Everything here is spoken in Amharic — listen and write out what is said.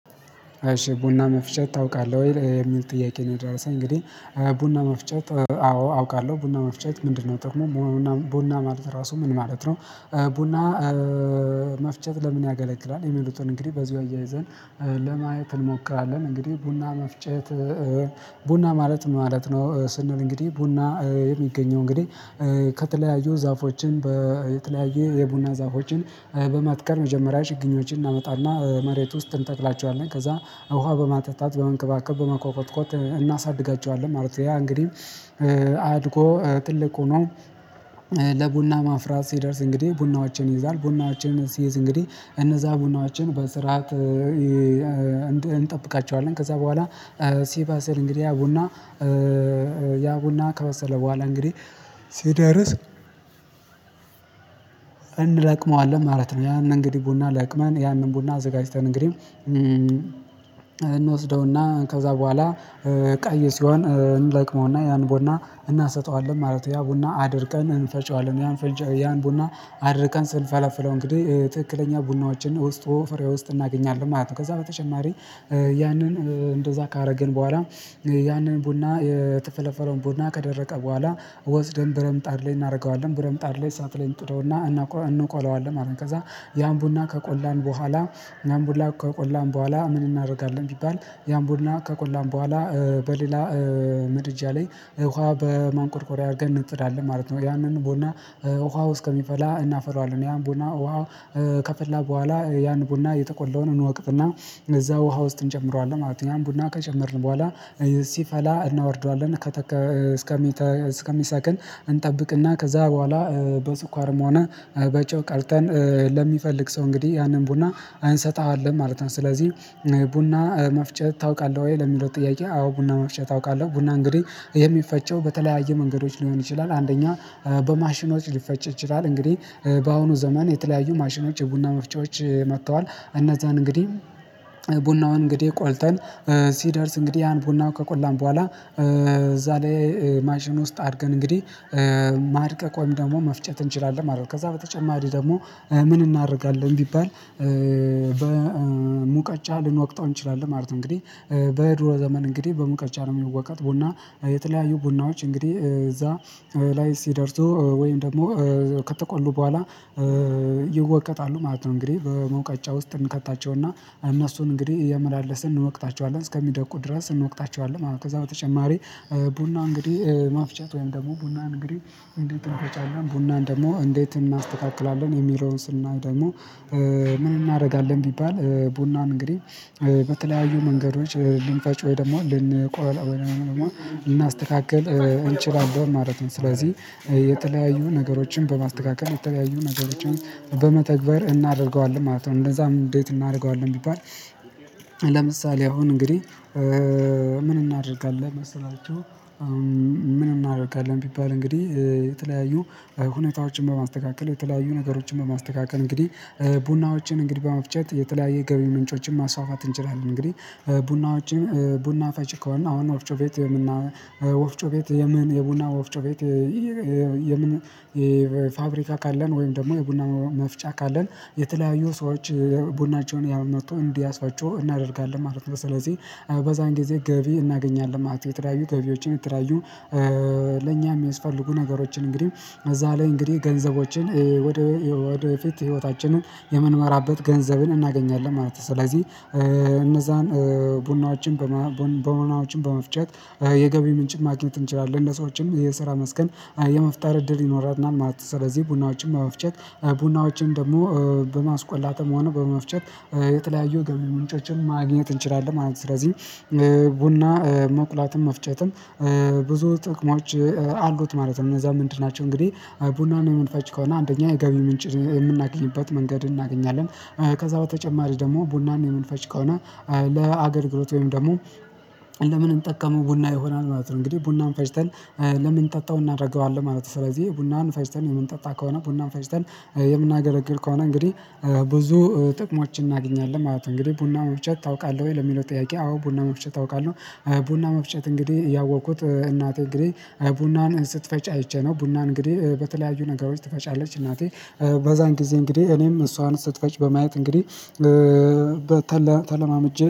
አሺ ቡና መፍጨት ታውቃለህ ወይ? የሚል ጥያቄ ነው የደረሰኝ እንግዲህ ቡና መፍጨት አዎ! አውቃለሁ። ቡና መፍጨት ምንድነው ጥቆሙ? ቡና ማለት ራሱ ምን ማለት ነው? ቡና መፍጨት ለምን ያገለግላል? የሚሉትን እንግዲህ በዚሁ አያይዘን ለማየት እንሞክራለን። እንግዲህ ቡና መፍጨት ቡና ማለት ማለት ነው። ስንል እንግዲህ ቡና የሚገኘው እንግዲህ ከተለያዩ ዛፎችን በተለያየ የቡና ዛፎችን በመትከል። መጀመሪያ ችግኞችን እናመጣና መሬት ውስጥ እንተክላቸዋለን። ከዛ ውሃ በማጠጣ፣ በመንከባከብ፣ በመኮከብኮት እናሳድጋቸዋለን። ማለት ነው ያ እንግዲህ አድጎ ትልቅ ሆኖ ለቡና ማፍራት ሲደርስ፣ እንግዲህ ቡናዎችን ይይዛል፣ ቡናዎችን ሲይዝ እንግዲህ እነዛ ቡናዎችን በስርዓት እንጠብቃቸዋለን። ከዛ በኋላ ሲበሰር እንግዲህ ያ ቡና ያ ቡና ከበሰለ በኋላ እንግዲህ ሲደርስ እንለቅመዋለን። ማለት ነው ያንን እንግዲህ ቡና ለቅመን፣ ያንን ቡና አዘጋጅተን፣ እንግዲህ እንወስደውና ከዛ በኋላ ቀይ ሲሆን እንለቅመውና፤ ያን ቡና እናሰጠዋለን። ማለት ያ ቡና አድርቀን እንፈጨዋለን። ያን ቡና አድርቀን ስንፈለፍለው እንግዲህ ትክክለኛ ቡናዎችን ውስጡ ፍሬ ውስጥ እናገኛለን ማለት ነው። ከዛ በተጨማሪ ያንን እንደዛ ካደረግን በኋላ ያንን ቡና የተፈለፈለውን ቡና ከደረቀ በኋላ ወስደን በረምጣድ ላይ እናደርገዋለ። በረምጣድ ላይ አሳት ላይ እንጥደውና እናቆ እንቆለዋለን ማለት ነው። ከዛ ያን ቡና ከቆላን በኋ፤ ያን ቡላ ከቆላን በኋላ ምን እናደርጋለን። ቢባል ያም ቡላ ከቆላን በኋላ በሌላ ምድጃ ላይ ውሃ በማንቆርቆሪያ አድርገን እንጥላለን። ማለት ነው ያንን ቦና ውሃው እስከሚፈላ እናፈላዋለን። ያን ቦና ውሃ ከፈላ በኋላ ያን ቡና የጠቆለውን እንወቅጥና እነዛ ውሃ ውስጥ እንጨምረዋለን ማለት ነው። ያን ቡና ከጨመርን በኋላ ሲፈላ እናወርደዋለን። ከተ እስ እስከሚሰክን እንጠብቅና ከዛ በኋላ በስኳርም ሆነ በጨው ቀርተን ለሚፈልግ ሰው እንግዲህ ያንን ቡና አንሰጥህም ማለት ነው። ስለዚህ ቡና መፍጨት ታውቃለህ ወይ? ለሚለው ጥያቄ አዎ ቡና መፍጨት አውቃለህ ቡና እንግዲህ ይሄ የሚፈጨው በተለያየ መንገዶች ሊሆን ይችላል አንደኛ በማሽኖች ሊፈጭ ይችላል። እንግዲህ በአሁኑ ዘመን የተለያዩ ማሽኖች የቡና መፍጨቶች መጥተዋል እነዛን እንግዲህ ቡናውን እንግዲህ ቆልጠን ሲደርስ እንግዲህ ያን ቡና ከቆላን በኋላ እዛ ላይ ማሽን ውስጥ አድርገን እንግዲህ ማድቀቅ ወይም ደግሞ መፍጨት እንችላለን ማለት ነው ከዛ በተጨማሪ ደግሞ ምን እናደርጋለን። ቢባል በሙቀጫ ልንወቅጠው እንችላለን። ማለት ነው እንግዲህ በደሮ ዘመን እንግዲህ በሙቀጫ ነው የሚወቀጥ። ቡና የተለያዩ ቡናዎች እንግዲህ እዛ ላይ ሲደርሱ ወይም ደግሞ ከተቆሉ በኋላ ይወቀጣሉ። ማለት ነው። እንግዲህ በመውቀጫ ውስጥ እንከታቸውና እነሱን እንግዲህ እየመላለስን እንወቅታቸዋለን። እስከሚደቁ ድረስ እንወቅታቸዋለን። ከዛ በተጨማሪ ቡና እንግዲህ ማፍጨት ወይም ደግሞ ቡናን እንግዲህ እንዴት እንፈጫለን? ቡናን ደግሞ እንዴት እናስተካክላለን? የሚለውን ስናይ ደግሞ ምን እናደርጋለን? ቢባል ቡናን እንግዲህ በተለያዩ መንገዶች ልንፈጭ፣ ወይ ደግሞ ልንቆላል፣ ወይ ደግሞ ልናስተካክል እንችላለን ማለት ነው። ስለዚህ የተለያዩ ነገሮችን በማስተካከል፣ የተለያዩ ነገሮችን በመተግበር እናደርገዋለን ማለት ነው። እንደዛም እንዴት እናደርገዋለን። ቢባል ለምሳሌ አሁን እንግዲህ ምን እናድርጋለን? መሰላችሁ ምን እናድርጋለን ቢባል እንግዲህ የተለያዩ ሁኔታዎችን በማስተካከል የተለያዩ ነገሮችን በማስተካከል እንግዲህ ቡናዎችን እንግዲህ በመፍጨት የተለያየ ገቢ ምንጮችን ማስፋፋት እንችላለን። እንግዲህ ቡና ውጭን ቡና ፈጭ ከሆን አሁን ወፍጮ ቤት ወፍጮ ቤት የምን የቡና ወፍጮ ቤት የምን የፋብሪካ ካለን ወይም ደግሞ የቡና መፍጫ ካለን የተለያዩ ሰዎች ቡናቸውን ያመጡ እንዲያሳጩ እናደርጋለን ማለት ነው። ስለዚህ በዛን ጊዜ ገቢ እናገኛለን። ማለት የተራዩ ገቢዎችን የተለያዩ ለኛ የሚያስፈልጉ ነገሮችን እንግዲህ እዛ ላይ እንግዲህ ገንዘቦችን ወደፊት ህይወታችንን የምንመራበት ገንዘብን እናገኛለን ማለት ነው። ስለዚህ እነዛን ቡናዎችን በመሆናቸው በመፍጨት የገቢ ምንጭ ማግኘት እንችላለን። ለሰዎችም የሰራ መስከን የመፍጠር እድል ይኖረናል ማለት ነው። ስለዚህ ቡናዎችን በመፍጨት ቡናዎችምን ደግሞ በማስቆላትም ሆነ በመፍጨት የተለያዩ ገቢ ምንጮችን ማግኘት እንችላለን ማለት ነው። ስለዚህ ቡና መቁላትን መፍጨትን ብዙ ጥቅሞች አሉት። ማለት ነው እነዛ ምንድን ናቸው? እንግዲህ ቡናን የምንፈጭ ከሆነ አንደኛ የገቢ ምንጭ የምናገኝበት መንገድ እናገኛለን። ከዛ በተጨማሪ ደግሞ ቡናን የምንፈጭ ከሆነ ለአገልግሎት ወይም ደግሞ ለምን እንጠቀመው ቡና ይሆናል ማለት ነው። እንግዲህ ቡናን ፈጭተን ለምን ጠጣው እናደርገዋለን። ማለት ነው። ስለዚህ ቡናን ፈጭተን የምንጠጣ ከሆነ ቡናን ፈጭተን የምናገለግል ከሆነ እንግዲህ ብዙ ጥቅሞችን እናገኛለን። ማለት ነው። እንግዲህ ቡና መፍጨት ታውቃለህ ወይ? ለሚለው ጥያቄ አዎ ቡና መፍጨት አውቃለሁ። ቡና መፍጨት እንግዲህ ያወቅኩት እናቴ እንግዲህ ቡናን ስትፈጭ አይቼ ነው። ቡና እንግዲህ በተለያዩ ነገሮች ትፈጫለች። እናቴ በዛን ጊዜ እንግዲህ እኔም እሷን ስትፈጭ በማየት እንግዲህ በተለ ተለማምጄ